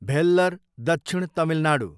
भेल्लर, दक्षिण तमिलनाडू